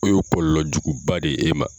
K'o yo kɔlɔlɔjuguba de e ma.